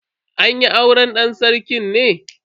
An yi auren dan sarki ne?